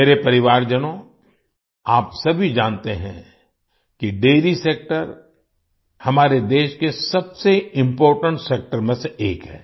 मेरे परिवारजनों आप सभी जानते हैं कि डैरी सेक्टर हमारे देश के सबसे इम्पोर्टेंट सेक्टर में से एक है